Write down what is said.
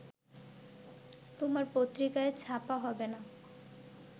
তোমার পত্রিকাই ছাপা হবে না